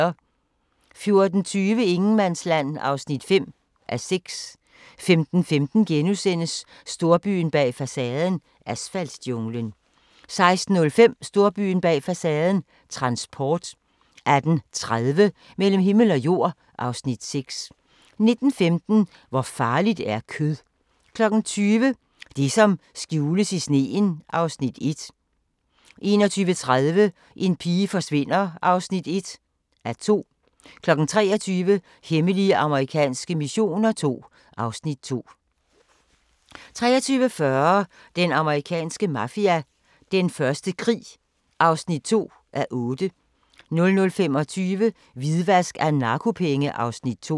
14:20: Ingenmandsland (5:6) 15:15: Storbyen bag facaden – asfaltjunglen * 16:05: Storbyen bag facaden – transport 18:30: Mellem himmel og jord (Afs. 6) 19:15: Hvor farligt er kød? 20:00: Det som skjules i sneen (Afs. 1) 21:30: En pige forsvinder (1:2) 23:00: Hemmelige amerikanske missioner II (Afs. 2) 23:40: Den amerikanske mafia: Den første krig (2:8) 00:25: Hvidvask af narkopenge (Afs. 2)